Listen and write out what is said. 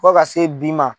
Fo ka se bi ma